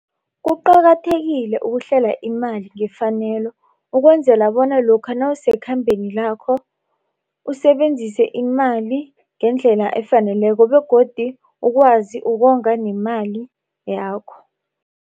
Kuqakathekile ukuhlela imali ngefanelo ukwenzela bona lokha nawusekhambeni lakho usebenzise imali ngendlela efaneleko begodu ukwazi ukonga nemali yakho.